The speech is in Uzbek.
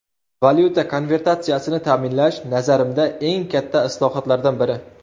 Valyuta konvertatsiyasini ta’minlash, nazarimda, eng katta islohotlardan biri.